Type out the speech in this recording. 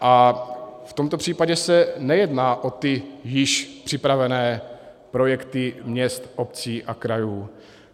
A v tomto případě se nejedná o ty již připravené projekty měst, obcí a krajů.